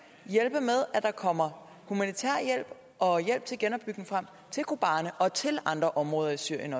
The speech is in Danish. er der kommer humanitær hjælp og hjælp til genopbygning frem til kobane og til andre områder i syrien